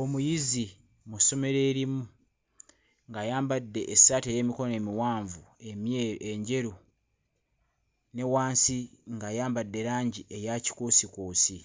Omuyizi mu ssomero erimu ng'ayambadde essaati ey'emikono emiwanvu emye... enjeru ne wansi ng'ayambadde langi eya kikuusikuusi